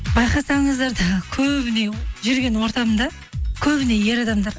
байқасаңыздар да көбіне жүрген ортамда көбіне ер адамдар